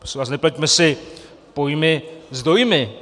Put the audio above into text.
Prosím vás, nepleťme si pojmy s dojmy.